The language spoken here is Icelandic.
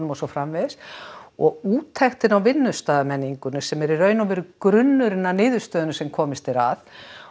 og svo framvegis og úttektin á vinnustaðarmenningunni sem er í rauninni grunnurinn að niðurstöðunum sem komist er að